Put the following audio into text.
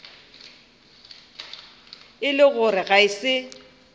e le gore ga se